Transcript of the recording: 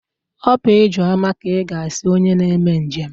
Ọ bụ ijeoma ka ịga asị onye na-eme njem?